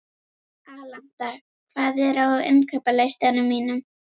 Alanta, hvað er á innkaupalistanum mínum?